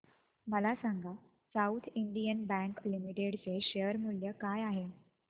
मला सांगा South Indian Bank Limited चे शेअर मूल्य काय आहे